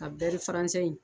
Ka bɛɛri faransɛ in